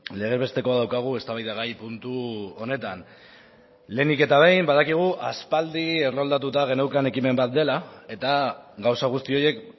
lege bestekoa daukagu eztabaidagai puntu honetan lehenik eta behin badakigu aspaldi erroldatuta geneukan ekimen bat dela eta gauza guzti horiek